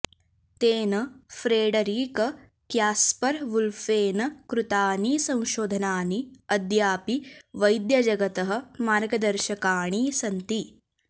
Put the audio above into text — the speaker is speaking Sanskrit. तेन फ्रेडरिक क्यास्पर् वुल्फेन कृतानि संशोधनानि अद्यापि वैद्यजगतः मार्गदर्शकाणि सन्ति